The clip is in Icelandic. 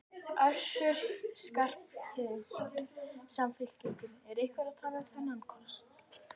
Össur Skarphéðinsson, Samfylkingu: Er einhver að tala um þennan kost?